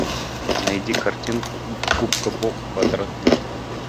найди картинку губка боб квадратные штаны